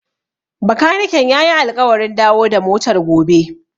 Bakaniken ya yi alƙawarin dawo da motar gobe.